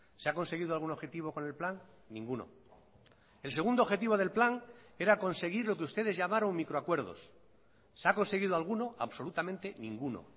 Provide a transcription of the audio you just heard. se ha conseguido algún objetivo con el plan ninguno el segundo objetivo del plan era conseguir lo que ustedes llamaron micro acuerdos se ha conseguido alguno absolutamente ninguno